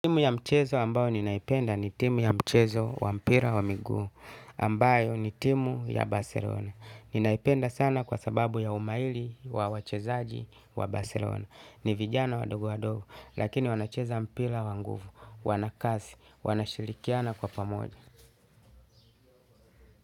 Timu ya mchezo ambayo ninaipenda ni timu ya mchezo wa mpira wa miguu ambayo ni timu ya baselona. Ninaipenda sana kwa sababu ya umaili wa wachezaji wa baselona. Ni vijana wandogo wandogo lakini wanacheza mpira wa nguvu, wana kasi, wanashirikiana kwa pamoja.